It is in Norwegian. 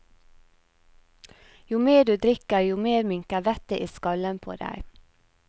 Jo mer du drikker, jo mer minker vettet i skallen på deg.